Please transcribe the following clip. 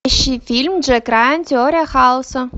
ищи фильм джек райан теория хаоса